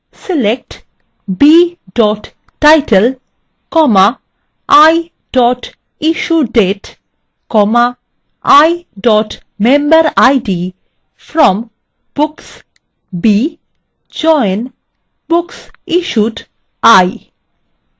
select b title i issuedate i memberid